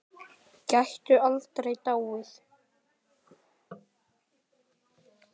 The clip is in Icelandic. Gætu aldrei dáið.